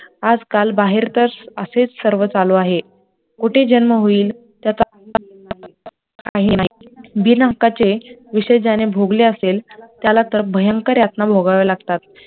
आजकाल बाहेर तर असेच सर्व चालू आहे, कुठे जन्म होईल बिनहक्काचे विषय ज्याने भोगले असेल त्याला तर भयंकर यातना भोगाव्या लागतात